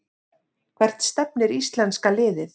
Hvert stefnir íslenska liðið